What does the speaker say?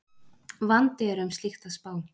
Vandi er um slíkt að spá